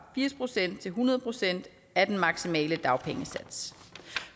firs procent til hundrede procent af den maksimale dagpengesats